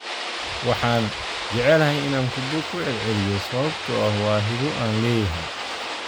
Waxan, jecelahay inaan kubbo ku celceliyo sababtoo ah waa hibo aan leeyahay.'